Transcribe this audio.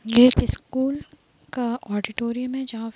ये एक स्कूल का ऑडिटोरियम है जहाँ --